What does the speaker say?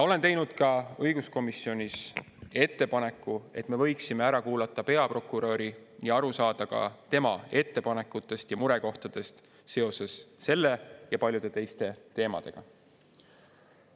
Olen teinud õiguskomisjonis ettepaneku, et me võiksime ära kuulata peaprokuröri ja aru saada ka tema ettepanekutest ja murekohtadest seoses selle ja paljude teiste teemadega.